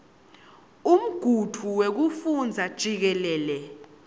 umgudvu wekufundza jikelele